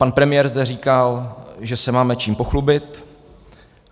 Pan premiér zde říkal, že se máme čím pochlubit.